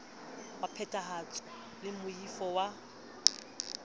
wa phethahatso le moifo wa